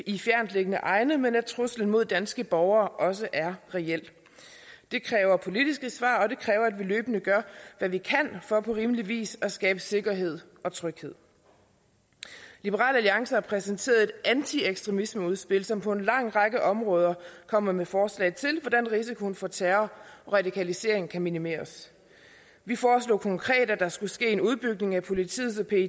i fjerntliggende egne men at truslen mod danske borgere også er reel det kræver politiske svar og at vi løbende gør hvad vi kan for på rimelig vis at skabe sikkerhed og tryghed liberal alliance har præsenteret et antiekstremismeudspil som på en lang række områder kommer med forslag til hvordan risikoen for terror og radikalisering kan minimeres vi foreslog konkret at der skulle ske en udbygning af politiets